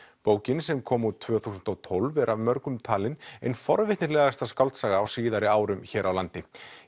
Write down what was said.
bókin sem kom út tvö þúsund og tólf er af mörgum talin ein forvitnilegasta skáldsaga á síðari árum hér á landi